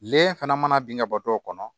Lɛ fana mana bin ka bɔ dɔw kɔnɔ